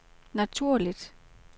naturligt